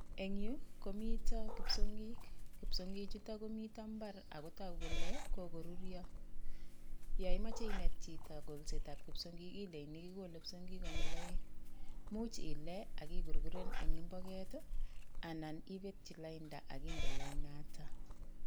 Eng' yu, komito kipsongik. Kipsongi chuto komito mbar agotogu kole kogoruryo. Yo imache inet chito kolsetab kipsongik, ilechini kogole kipsongik konyil aeng'. Much ile akigurguren eng imboget, anan ibetchi lainda aginde lainata.